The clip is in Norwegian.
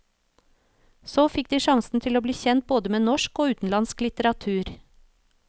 Så fikk de sjansen til å bli kjent både med norsk og utenlandsk litteratur.